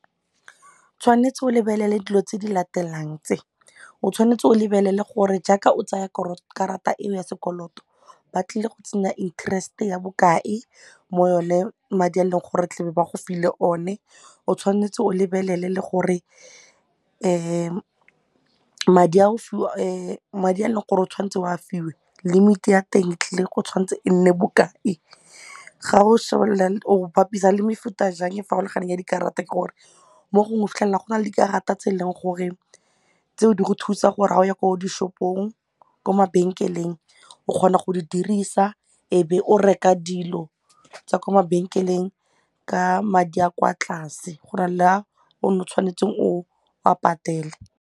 Tshwanetse o lebelele dilo tse di latelang tse o tshwanetse o lebelele gore jaaka o tsaya gore karata eo ya sekoloto ba tlile go tsena interest ya bokae mo yone madi a leng gore tlebe ba go file one, o tshwanetse o lebelele le gore madi a e leng gore o tshwanetse o a fiwe limit-e ya teng tlile go tshwanetse e nne bokae. Ga o simolola o bapisa le mefuta jang e farologaneng ya dikarata ke gore mo gongwe go fitlhelela go na le dikarata tse e leng gore tseo di go thusa gore ga o ya ko dishopong ko mabenkeleng o kgona go di dirisa e be o reka dilo tsa kwa mabenkeleng ka madi a kwa tlase go na le a o ne o tshwanetseng o a patele.